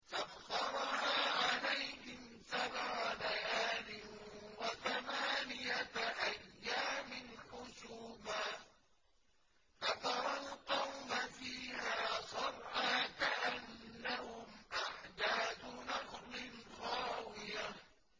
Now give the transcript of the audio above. سَخَّرَهَا عَلَيْهِمْ سَبْعَ لَيَالٍ وَثَمَانِيَةَ أَيَّامٍ حُسُومًا فَتَرَى الْقَوْمَ فِيهَا صَرْعَىٰ كَأَنَّهُمْ أَعْجَازُ نَخْلٍ خَاوِيَةٍ